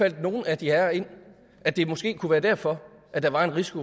ikke nogen af de herrer ind at det måske kunne være derfor at der var en risiko